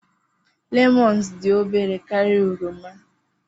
lemons dị obere karịa oroma